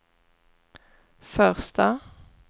första